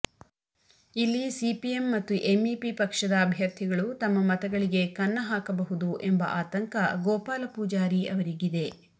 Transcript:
ಇಲ್ಲಿ ಸಿಪಿಎಂ ಮತ್ತು ಎಂಇಪಿ ಪಕ್ಷದ ಅಭ್ಯರ್ಥಿಗಳು ತಮ್ಮ ಮತಗಳಿಗೆ ಕನ್ನ ಹಾಕಬಹುದು ಎಂಬುದು ಆತಂಕ ಗೋಪಾಲ ಪೂಜಾರಿ ಅವರಿಗಿದೆ